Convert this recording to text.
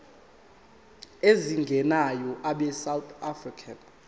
ezingenayo abesouth african